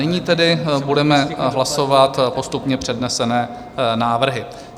Nyní tedy budeme hlasovat postupně přednesené návrhy.